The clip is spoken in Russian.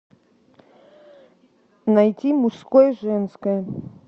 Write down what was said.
найти мужское женское